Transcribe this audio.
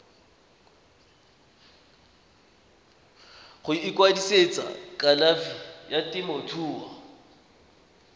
go ikwadisetsa kalafi ya temothuo